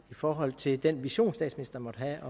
i forhold til den vision statsministeren måtte have